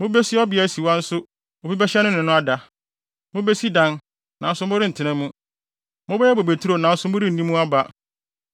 Mubesi ɔbea asiwa nso obi bɛhyɛ no ne no ada. Mubesi dan, nanso morentena mu. Mobɛyɛ bobeturo nanso morenni mu aba.